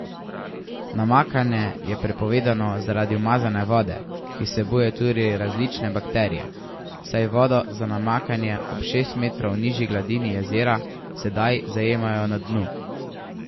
Namakanje je prepovedano zaradi umazane vode, ki vsebuje tudi različne bakterije, saj vodo za namakanje ob šest metrov nižji gladini jezera sedaj zajemajo na dnu.